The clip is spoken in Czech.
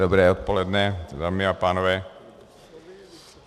Dobré odpoledne, dámy a pánové.